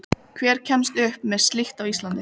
Urtan fór í kaf en kom upp nokkru utar.